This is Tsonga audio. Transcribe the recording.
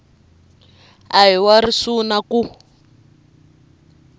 a hi wa risuna ku